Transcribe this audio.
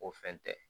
O fɛn tɛ